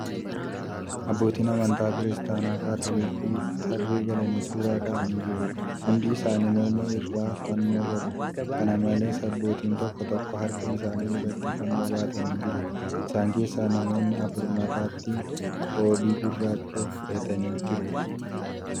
Abbootiin amantaa Kiristaanaa Kaatoolikii tarree galanii suura ka'aa jiru. Hundi isaanii morma irraa fannoo qabu. Kana malees abbootiin tokko tokko harka isaanii irrratti fannoo baataanii jiru. Isaan keessaa namoonni afur matastti qoobii gurraacha hidhatanii jiru.